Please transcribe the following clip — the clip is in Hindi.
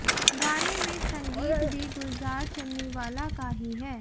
गाने में संगीत भी गुलजार चन्नीवाला का ही है